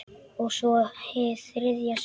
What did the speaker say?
Og svo- hið þriðja sinn.